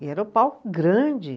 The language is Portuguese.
E era um palco grande.